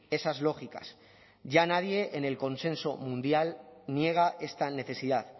esas lógicas ya nadie en el consenso mundial niega esta necesidad